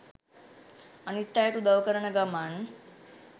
අනිත් අයට උදව් කරන ගමන්